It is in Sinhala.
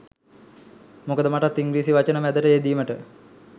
මොකද මටත් ඉංග්‍රීසි වචන මැදට යෙදීමට